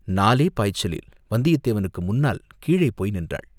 நாலே பாய்ச்சலில் வந்தியத்தேவனுக்கு முன்னால் கீழே போய் நின்றாள்.